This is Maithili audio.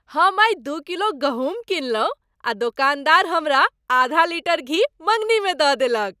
हम आइ दू किलो गहूम किनलहुँ आ दोकानदार हमरा आधा लीटर घी मङ्गनीमे दऽ देलक।